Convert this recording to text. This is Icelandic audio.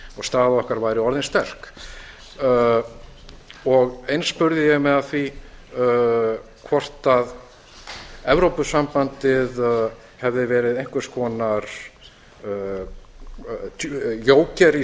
og staða okkar væri orðin sterk eins spurði ég mig að því hvort evrópusambandið hefði verið einhvers konar jóker í